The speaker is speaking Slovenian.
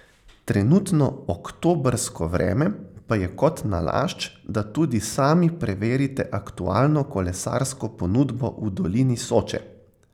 Trenutno oktobrsko vreme pa je kot nalašč, da tudi sami preverite aktualno kolesarsko ponudbo v dolini Soče.